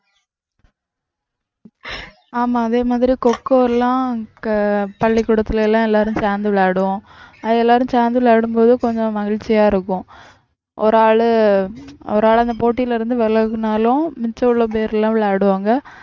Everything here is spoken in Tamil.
ஆமா அதே மாதிரி கோகோ எல்லாம் பள்ளிக்கூடத்துல எல்லாம் எல்லாரும் சேர்ந்து விளையாடுவோம் அது எல்லாரும் சேர்ந்து விளையாடும்போது கொஞ்சம் மகிழ்ச்சியா இருக்கும் ஒரு ஆளு அவரால அந்த போட்டியில இருந்து விலகினாலும் மிச்சமுள்ள பேர் எல்லாம் விளையாடுவாங்க